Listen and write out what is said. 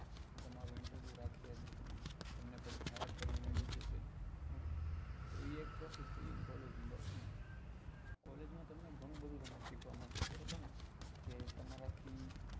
તમારું interview રાખશે ને તમને ફરી hire કરી ને લઇ જશે ok તો એ એક વસ્તુ જ થઇ એની collage ની બરોબર ને collage માં તમને ગણું બધું તમને શીખવા મળશે બરોબર ને કે તમારા થી